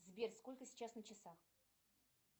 сбер сколько сейчас на часах